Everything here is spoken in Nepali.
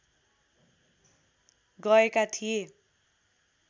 गएका थिए